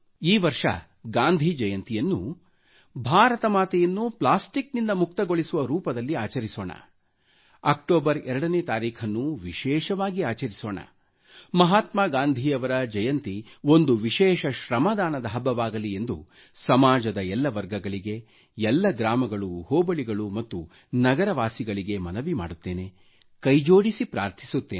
ಈ ವರ್ಷ ಗಾಂಧಿ ಜಯಂತಿಯನ್ನು ಭಾರತಮಾತೆಯನ್ನು ಪ್ಲಾಸ್ಟಿಕ್ನಿಂದ ಮುಕ್ತಗೊಳಿಸುವ ರೂಪದಲ್ಲಿ ಆಚರಿಸೋಣ ಅಕ್ಟೋಬರ್ 2 ನೇ ತಾರಿಖನ್ನು ವಿಶೇಷವಾಗಿ ಆಚರಿಸೋಣ ಮಹಾತ್ಮಾ ಗಾಂಧಿಯವರ ಜಯಂತಿಯು ಒಂದು ವಿಶೇಷ ಶ್ರಮದಾನದ ಹಬ್ಬವಾಗಲಿ ಎಂದು ಸಮಾಜದ ಎಲ್ಲ ವರ್ಗಗಳಿಗೆ ಎಲ್ಲ ಗ್ರಾಮಗಳು ಹೋಬಳಿಗಳು ಮತ್ತು ನಗರವಾಸಿಗಳಿಗೆ ಮನವಿ ಮಾಡುತ್ತೇನೆ ಕೈಜೋಡಿಸಿ ಪ್ರಾರ್ಥಿಸುತ್ತೇನೆ